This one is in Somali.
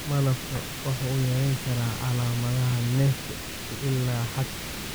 Malabka wuxuu yarayn karaa calaamadaha neefta ilaa xad.